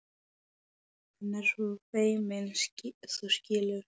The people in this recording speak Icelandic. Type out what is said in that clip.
Hann er svo feiminn, þú skilur.